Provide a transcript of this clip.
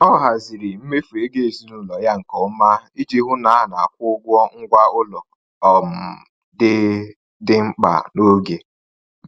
Ọ haziri mmefu ego ezinụlọ ya nke ọma iji hụ na a na-akwụ ụgwọ ngwa ụlọ um dị dị mkpa n’oge.